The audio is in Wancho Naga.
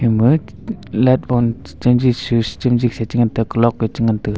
ima lap on chamji switch chamji sa cha ngantaga clock ee chi ngantaga.